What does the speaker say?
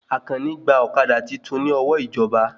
Àkàní gbà ọ̀kadà titun ní ọwọ́ ìjọba